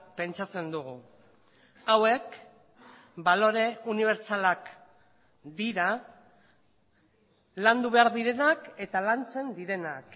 pentsatzen dugu hauek balore unibertsalak dira landu behar direnak eta lantzen direnak